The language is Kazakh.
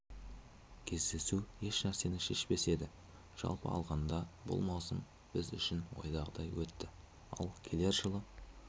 кездесу ешнәрсені шешпес еді жалпы алғанда бұл маусым біз үшін ойдағыдай өтті ал келер жылы